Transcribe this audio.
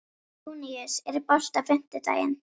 Júníus, er bolti á fimmtudaginn?